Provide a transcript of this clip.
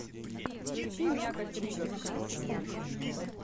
включи мякоть ригос